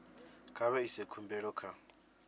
kha vha ise khumbelo kha